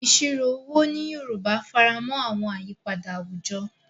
Ìṣirò owó ní Yorùbá faramọ́ àwọn àyípadà àwùjọ,